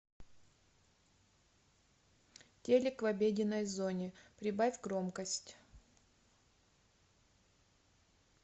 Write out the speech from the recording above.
телик в обеденной зоне прибавь громкость